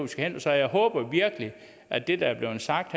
skal hen så jeg håber virkelig at det der er blevet sagt